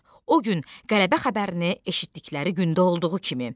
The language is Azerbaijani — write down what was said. O gün qələbə xəbərini eşitdikləri gündə olduğu kimi.